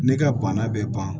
Ne ka bana bɛ ban